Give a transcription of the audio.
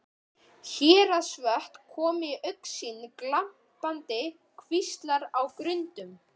Héraðsvötn komu í augsýn, glampandi kvíslar á grundum.